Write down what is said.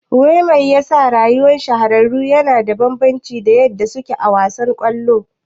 Wai mai yasa rayuwa shahararru yana da bambanci da yadda suke a wasan kwallon?